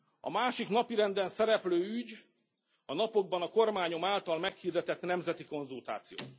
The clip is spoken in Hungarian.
A másik napirenden szereplő ügy a napokban a kormányom által meghirdetett nemzeti konzultáció.